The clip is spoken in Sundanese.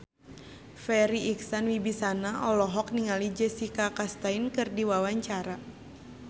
Farri Icksan Wibisana olohok ningali Jessica Chastain keur diwawancara